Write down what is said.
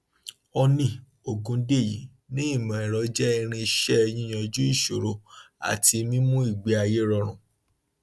honey ògúndèyí ní ìmọẹrọ jẹ irinṣẹ yíyanjú ìṣòro àti mímú ìgbéayé rọrùn